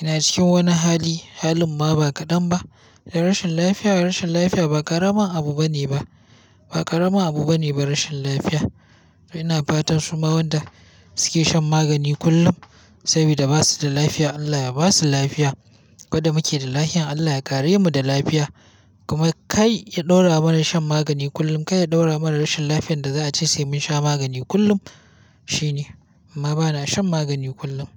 yana cikin wani hali. Halin ma ba kaɗan ba. Da rashin lafiya, rashin lafiya ba ƙaramin abu ba ne ba. Ba ƙaramin abu ba ne ba rashin lafiya. Ina fatan su ma wanda suke shan magani kullum sabida ba su da lafiya Allah ya ba su lafiya. Koda muke da lafiya Allah ya kare mu da lafiya. Kuma kai ya ɗaura mana shan magani kullum. Kar ya ɗaura mana rashin lafiyar da za a ce sai mun sha magani kullum. Shi ne, amma bana shan magani kullum.